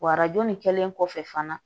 Wa arajo nin kɛlen kɔfɛ fana